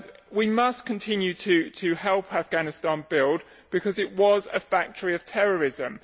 We must continue to help Afghanistan build, because it was a factory of terrorism.